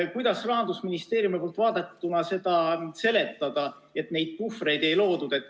Kuidas Rahandusministeeriumi poolt vaadatuna seda seletada, et neid puhvreid ei loodud?